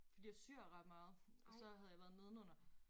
Fordi jeg syr ret meget og så havde jeg været nedenunder